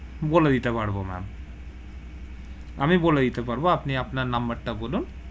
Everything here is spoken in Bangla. বলে দিতে পারবো ma'am, আমি বলে দিতে পারবো, আপনি আপনার number তা বলুন,